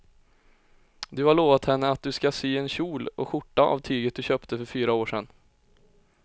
Du har lovat henne att du ska sy en kjol och skjorta av tyget du köpte för fyra år sedan.